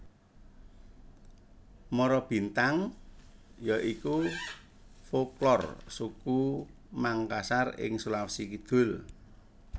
Marabintang ya iku folklor suku Mangkasar ing Sulawesi Kidul